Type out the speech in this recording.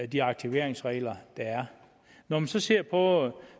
de aktiveringsregler der er når man så ser på